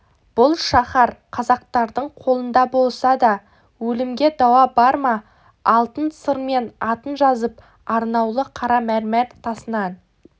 бұл шаһар қазақтардың қолында болса да өлімге дауа бар ма алтын сырмен атын жазып арнаулы қара мәрмәр тасынан